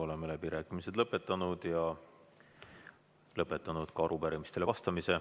Oleme läbirääkimised lõpetanud ja lõpetanud ka arupärimistele vastamise.